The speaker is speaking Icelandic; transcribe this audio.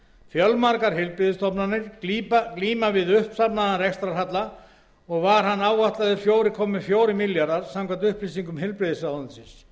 fjölmargar heilbrigðisstofnanir glíma við uppsafnaðan rekstrarhalla og var hann áætlaður fjóra komma fjórir milljarðar króna samkvæmt upplýsingum heilbrigðisráðuneytisins